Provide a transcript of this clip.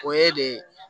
O ye de